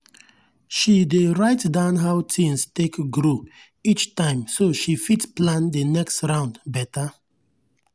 she dey write down how things take grow each time so she fit plan the next round better.